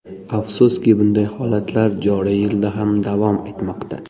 Afsuski, bunday holatlar joriy yilda ham davom etmoqda.